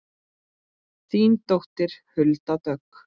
Þín dóttir Hulda Dögg.